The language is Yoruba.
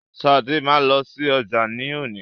Sade ma lọsí ọjà ni òní.